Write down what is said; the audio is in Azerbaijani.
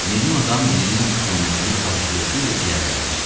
Meymun adam lilin üfunətini acgözlüklə ciyərlərinə çəkdi.